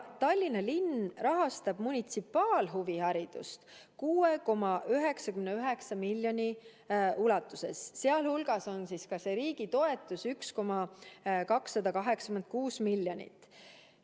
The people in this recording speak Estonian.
Tallinna linn rahastab munitsipaalhuviharidust 6,99 miljoni ulatuses, seal hulgas on ka see riigitoetus 1,286 miljonit.